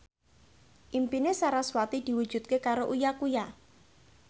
impine sarasvati diwujudke karo Uya Kuya